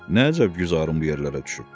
Nə əcəb güzarın bu yerlərə düşüb?